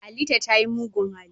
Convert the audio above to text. Halita ta yi mugun hali.